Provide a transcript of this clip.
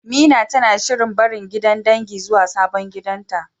Mina tana shirin barin gidan dangin zuwa sabon gidanta.